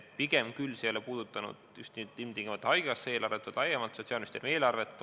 See ei ole puudutanud küll just ilmtingimata haigekassa eelarvet, vaid laiemalt Sotsiaalministeeriumi eelarvet.